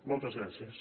moltes gràcies